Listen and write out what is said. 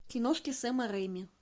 киношки сэма рэйми